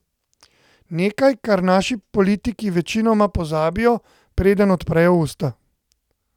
Nekaj, kar naši politiki večinoma pozabijo, preden odprejo usta.